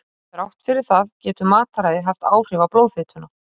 Þrátt fyrir það getur mataræði haft áhrif á blóðfituna.